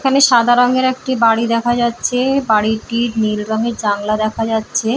এখানে সাদা রঙের একটি বাড়ি দেখা যাচ্ছে বাড়িটি নীল রঙের জানলা দেখা যাচ্ছে।